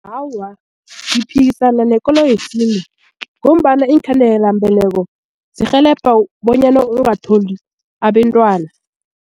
Awa, ngiphikisana nekolo yesintu ngombana iinkhandelambeleko zirhelebha bonyana ungatholi abentwana.